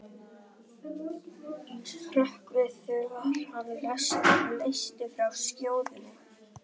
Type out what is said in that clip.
Annar kafli laganna fjallar um læknishéruð og heilbrigðismálaráð.